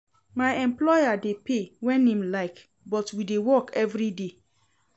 My employer dey pay wen im like but we dey work everyday.